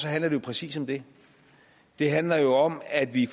handler jo præcis om det det handler jo om at vi